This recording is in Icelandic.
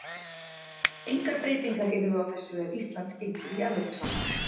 Engar breytingar yrðu á þessu ef Ísland gengur í Evrópusambandið.